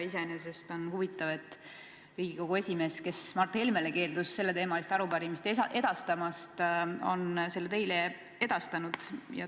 Iseenesest on huvitav, et Riigikogu esimees, kes Mart Helmele keeldus selleteemalist arupärimist edastamast, on selle teile edastanud.